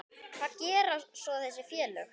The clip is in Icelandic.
Hvað gera svo þessi félög?